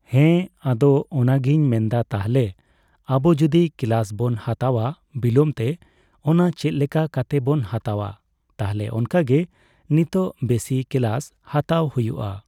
ᱦᱮᱸ ᱟᱫᱚ ᱚᱱᱟᱜᱤᱧ ᱢᱮᱱᱫᱟ ᱛᱟᱦᱚᱞᱮ ᱟᱵᱚ ᱡᱚᱫᱤ ᱠᱮᱞᱟᱥ ᱵᱚᱱ ᱦᱟᱛᱟᱣᱟ ᱵᱤᱞᱚᱢᱼᱛᱮ ᱚᱱᱟ ᱪᱮᱫᱞᱮᱠᱟ ᱠᱟᱛᱮᱜ ᱵᱚᱱ ᱦᱟᱛᱟᱣᱟ ᱛᱟᱦᱚᱞᱮ ᱚᱱᱠᱟᱜᱮ ᱱᱤᱛᱚᱜ ᱵᱮᱥᱤ ᱠᱮᱞᱟᱥ ᱦᱟᱛᱟᱣ ᱦᱩᱭᱩᱜᱼᱟ ᱾